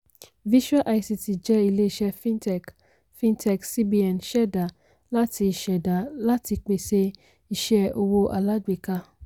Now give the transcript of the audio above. visual ict jẹ́ ilé-iṣẹ́ fintech fintech cbn ṣẹda láti ṣẹda láti pèsè iṣẹ́ owó alágbèéká.